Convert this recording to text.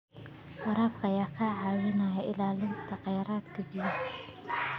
Waraabka ayaa ka caawiya ilaalinta kheyraadka biyaha.